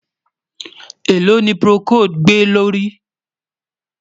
èlò ní procold gbè ló rí?